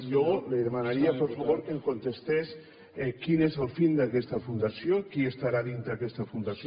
jo li demanaria per favor que em contestés quina és la finalitat d’aquesta fundació qui estarà a dintre aquesta fundació